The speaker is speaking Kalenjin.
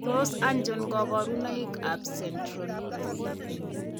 Tos achon kabarutik ab Centronuclear ?